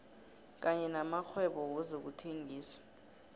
kanye namakghwebo wezokuthengisa